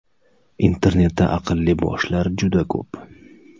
Internetda aqlli boshlar juda ko‘p.